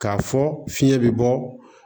K'a fɔ fiɲɛ be bɔ